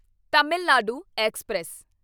Tamil Nadu express